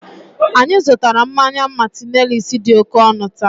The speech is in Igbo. anyị zụtara mmanya "martineliss" dị oke ọnụ taa